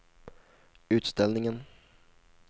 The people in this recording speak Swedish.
utställningen